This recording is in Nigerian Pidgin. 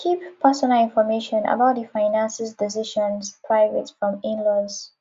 keep personal information about di finances decisions private from inlaws